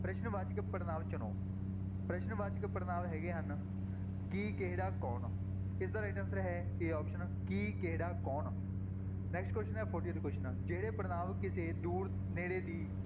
ਪ੍ਰਸ਼ਨ ਵਾਚਕ ਪੜ੍ਹਨਾਂਵ ਚੁਣੋ ਪ੍ਰਸ਼ਨ ਵਾਚਕ ਪੜ੍ਹਨਾਂਵ ਹੈਗੇ ਹਨ ਕੀ, ਕਿਹੜਾ, ਕੌਣ ਇਸਦਾ right answer ਹੈ a option ਕੀ, ਕਿਹੜਾ, ਕੌਣ next question ਹੈ fortieth question ਜਿਹਵੇ ਪੜ੍ਹਨਾਂਵ ਕਿਸੇ ਦੂਰ ਨੇੜੇ ਦੀ